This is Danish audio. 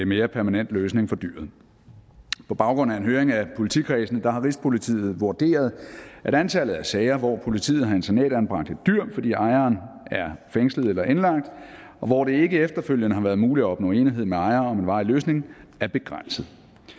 mere permanent løsning for dyret på baggrund af en høring af politikredsene har rigspolitiet vurderet at antallet af sager hvor politiet har internatanbragt et dyr fordi ejeren er fængslet eller indlagt og hvor det ikke efterfølgende har været muligt at opnå enighed med ejeren om en varig løsning er begrænset